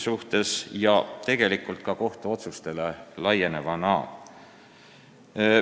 See on laienenud ka omaaegsetele kohtuotsustele.